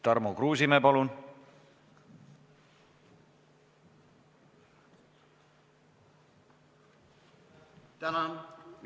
Tarmo Kruusimäe, palun!